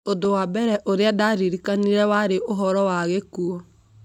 Ũndũ wa mbere ũrĩa ndaaririkanire warĩ ũhoro wa gĩkuũ.